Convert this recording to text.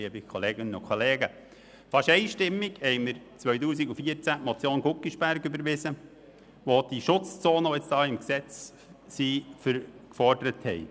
Fast einstimmig haben wir 2014 die Motion Guggisberg () überwiesen, die die Schutzzonen, die jetzt im Gesetz stehen, gefordert hat.